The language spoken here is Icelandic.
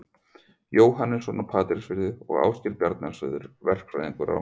Jóhannesson á Patreksfirði og Ásgeir Bjarnason, verkfræðing á